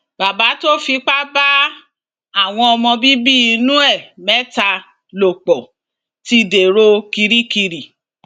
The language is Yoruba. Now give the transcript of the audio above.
bàbá tó fipá bá àwọn ọmọ bíbí inú ẹ mẹta lò pọ ti dèrò kirikiri